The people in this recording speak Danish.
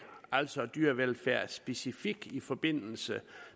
altså dyrevelfærd specifikt i forbindelse